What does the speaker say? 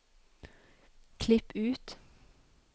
klipp ut